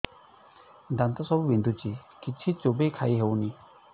ଦାନ୍ତ ସବୁ ବିନ୍ଧୁଛି କିଛି ଚୋବେଇ ଖାଇ ହଉନି